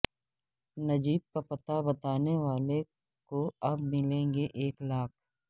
نجیب کا پتہ بتانے والے کواب ملیں گے ایک لاکھ